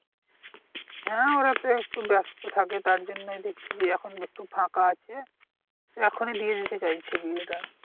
হ্যা ওরা তো একটু ব্যাস্ত থাকে তারজন্যই দেখছে যে এখন একটু ফাঁকা আছে এখনই দিয়ে দিতে চাইছে বিয়েটা